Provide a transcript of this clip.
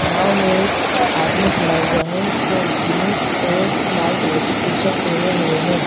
नाव में एक आदमी खड़ा हुआ है जो जींस और लाल कलर की टी_शर्ट पहने हुए हैं।